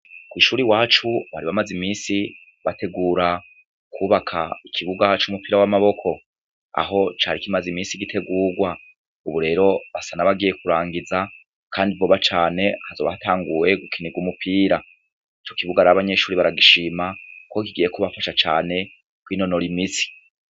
Kw'ishuri wacu baribamaze imisi bategura kubaka ikibuga hac'umupira w'amaboko aho cari ikimaze imisi igitegurwa uburero basa nabagiye kurangiza, kandi boba cane hazoba hatanguwe gukinirwa umupira co kibuga ari abanyeshuri baragishima, kuko kigiye kuba afasha cane kw’inonora imisi.